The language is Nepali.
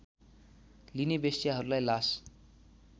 लिने वेश्याहरूलाई लास